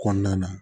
Kɔnɔna na